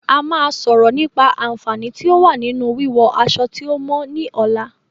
A máa sọ̀rọ̀ nípa"Aànfàní tí o wa ninu wí wọ aṣọ tí o mọ" ni ọ̀la